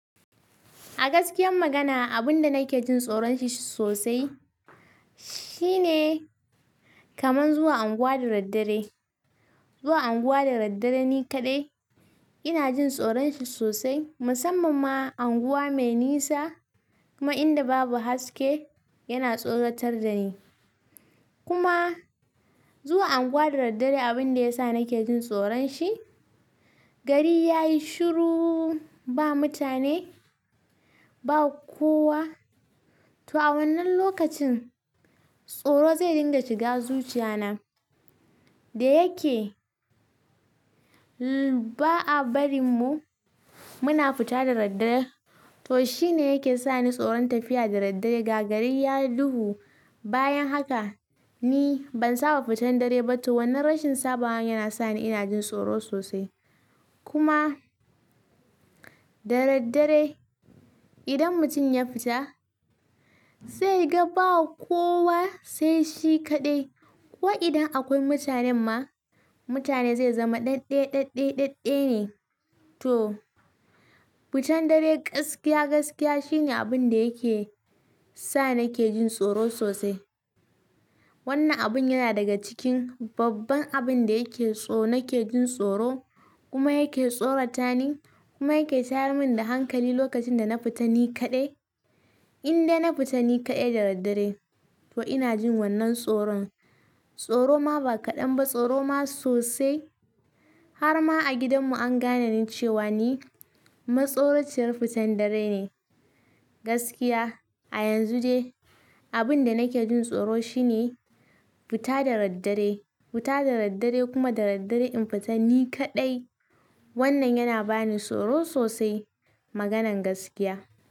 A gaskiyan magana, abun da nake jin tsoron shi sosai shine kaman zuwa unguwa da daddare. Zuwa unguwa da daddare ni kaɗai ina jin tsoron shi sosai. Musamman ma unguwa mai nisa kuma inda babu haske yana tsoratar da ni. Kuma zuwa unguwa da daddare abin da yasa nake jin tsoron shi, gari ya yi shuru, ba mutane ba kowa. To a wannan lokacin tsoro zai dinga shiga zuciya na, da yake ba'a barin mu muna fita da daddare. To shine yake sani tsoron tafiya da daddare. Ga gari ya duhu bayan haka, ni ban saba fitan dare ba. To wannan rashin sabawa yana sani ina jin tsoro sosai. Kuma da daddare idan mutum ya fita zai ga ba kowa sai shi kaɗai. Ko idan akwai mutanen ma mutane zai zama ɗaɗɗaya-ɗaɗɗaya-ɗaɗɗaya ne. To fitan dare gaskiya gaskiya shine abun da yake sa nake jin tsoro sosai. Wannan abun yana daga cikin babban abin da yake so nake jin tsoro kuma yake tsorata ni kuma yake tayar mun da hankali lokacin da na fita ni kaɗai. Indai na fita ni kaɗai da daddare to ina jin wannan tsoron. Tsoro ma ba kaɗan ba tsoro ma sosai. Har ma a gidan mu an gane ni cewa ni matsoraciyar fitan dare ne gaskiya. A yanzu dai abin da nake jin tsoro shine fita da daddare, fita da daddare kuma da daddare in fita ni kaɗai wannan yana bani tsoro sosai maganan gaskiya.